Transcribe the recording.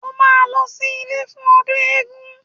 O máa lọ sí ilé fún ọdún eégún